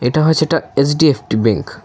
এটা হচ্ছে একটা এইচ_ডি_এফ_টি ব্যাঙ্ক ।